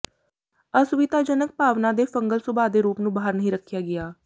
ਅਸੁਵਿਧਾਜਨਕ ਭਾਵਨਾ ਦੇ ਫੰਗਲ ਸੁਭਾਅ ਦੇ ਰੂਪ ਨੂੰ ਬਾਹਰ ਨਹੀਂ ਰੱਖਿਆ ਗਿਆ